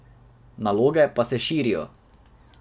Naloge pa se širijo.